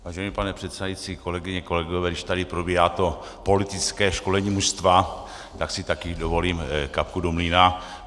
Vážený pane předsedající, kolegyně, kolegové, když tady probíhá to politické školení mužstva, tak si také dovolím kapku do mlýna.